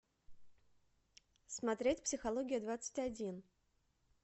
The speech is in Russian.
смотреть психология двадцать один